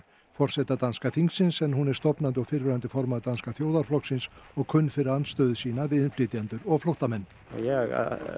forseta danska þingsins en hún er stofnandi og fyrrverandi formaður Danska þjóðarflokksins og kunn fyrir andstöðu sína við innflytjendur og flóttamenn ég